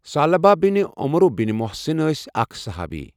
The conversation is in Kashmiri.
ثعلبہ بن عمرو بن محصن ٲسؠ اَکھ صُحابی.